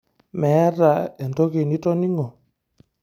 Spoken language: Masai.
Meeta entoki nitoning'o?